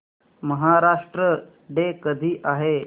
Maharashtra day कधी आहे